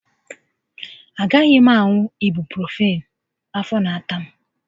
Agaghị m aṅụ ibuprofịịn, afọ n'ata m